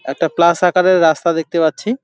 একটা প্লাস আকারের রাস্তা দেখতে পাচ্ছি।